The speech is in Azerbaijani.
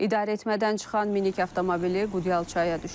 İdarəetmədən çıxan minik avtomobili Qudyal çaya düşüb.